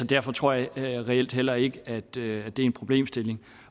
derfor tror jeg reelt heller ikke det er en problemstilling